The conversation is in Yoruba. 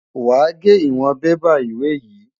Wàá gé ìwọ̀n bébà ìwé yìí.